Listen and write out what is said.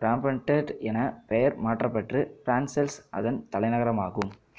Brabant எனப் பெயர் மாற்றப்பட்டு பிரசெல்சு அதன் தலைநகரானது